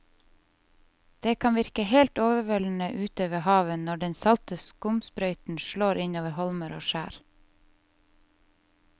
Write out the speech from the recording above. Det kan virke helt overveldende ute ved havet når den salte skumsprøyten slår innover holmer og skjær.